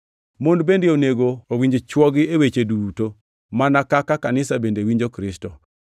Mon bende onego owinj chwogi e weche duto, mana kaka kanisa bende winjo Kristo.